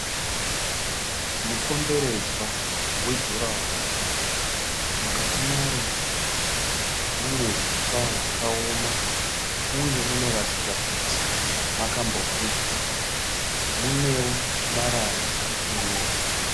Mukomberedzwa wejuraworo. Mukati maro mune huswa hwakaoma uye munoratidza kuti makambopiswa. Munewo marara arikuoneka.